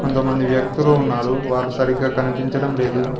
కొంతమంది వ్యక్తులు ఉన్నారు వారు సరిగ్గా కనిపించడం లేదు.